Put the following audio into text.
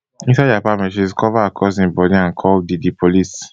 inside di apartment she discover her cousin body and call di di police